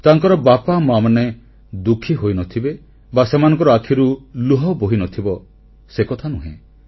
ତାଙ୍କର ବାପାମାଆମାନେ ଦୁଃଖି ହୋଇନଥିବେ ବା ସେମାନଙ୍କର ଆଖିରୁ ଲୁହ ବୋହିନଥିବ ସେକଥା ନୁହେଁ